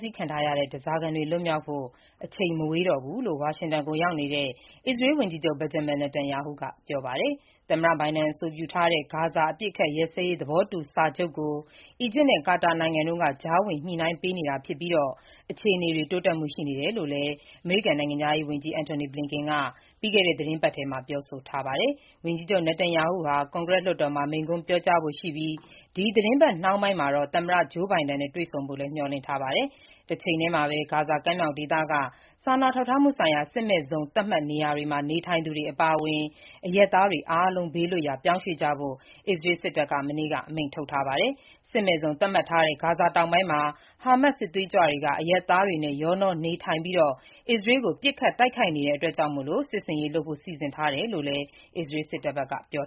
ဆီးခံထားရတဲ့ ဓားစာခံတွေလွတ်မြောက်ဖို့ အချိန်မဝေးတော့ဘူးလို့ အမေရိကန်နိုင်ငံ ဝါရှင်တန်မြို့တော်ကိုရောက်နေတဲ့ အစ္စရေးဝန်ကြီးချုပ် Benjamin Netanyahu ကပြောပါတယ်။ သမ္မတဘိုင်ဒန်အဆိုပြုထားတဲ့ ဂါဇာအပစ်အခတ်ရပ်စဲရေးသဘောတူစာချုပ်ကို အီဂျစ်နဲ့ ကာတာနိုင်ငံတို့က ကြားဝင်ညှိနှိုင်းပေးနေတာဖြစ်ပြီး အခြေအနေတွေတိုးတက်မှုရှိတယ်လို့လည်း အမေရိကန်နိုင်ငံခြားရေးဝန်ကြီး Antony Blinken က ပြီးခဲ့တဲ့ သီတင်းပတ်ထဲပြောဆိုထားတာပါ။ ဝန်ကြီးချုပ် Netanyahu ဟာ ကွန်ဂရက်လွှတ်တော်မှာ မိန့်ခွန်းပြောကြားဖို့ရှိပြီး ဒီသီတင်းပတ်နှောင်းပိုင်းမှာတော့ သမ္မတ Joe Biden နဲ့ တွေ့ဆုံဖို့မျှော်လင့်ထားပါတယ်။ တချိန်တည်းမှာပဲ ဂါဇာကမ်းမြှောင်ဒေသက စာနာထောက်ထားမှုဆိုင်ရာ စစ်မဲ့ဇုံသတ်မှတ်နေရာမှာ နေထိုင်သူတွေ အပါအဝင် အရပ်သားတွေ အားလုံးဘေးလွတ်ရာ ပြောင်းရွှေ့ကြဖို့ အစ္စရးစစ်တပ်က မနေ့က အမိန့်ထုတ်ထားပါတယ်။ စစ်မဲ့ဇုန်သတ်မှတ်ထားတဲ့ ဂါဇာဒေသတောင်ပိုင်းမှာ ဟားမတ်စ် စစ်သွေးကြွတွေက အရပ်သားတွေနဲ့ ရောနှောနေထိုင်ပြီး အစ္စရေးကို ပစ်ခတ်တိုက်ခိုက်နေတာကြောင့် စစ်ဆင်ရေးလုပ်ဖို့ စီစဉ်ထားတယ်လို့ အစ္စရေးစစ်တပ်က ပြော